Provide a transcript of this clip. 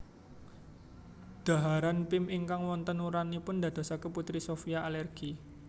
Dhaharan Pim ingkang wonten urangipun ndadosaken Putri Sophia alergi